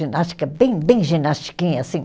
Ginástica bem, bem ginastiquinha, assim.